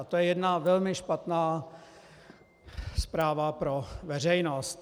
A to je jedna velmi špatná zpráva pro veřejnost.